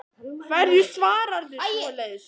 Hverju svararðu svoleiðis?